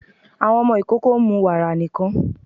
Àwọn ọmọ ikoko ń mú wàra nikan